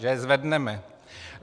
Že je zvedneme.